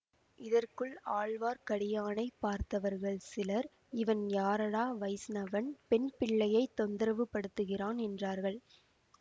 இதற்குள் ஆழ்வார்க்கடியானை பார்த்தவர்கள் சிலர் இவன் யாரடா வைஷ்ணவன் பெண் பிள்ளையைத் தொந்தரவு படுத்துகிறான் என்றார்கள்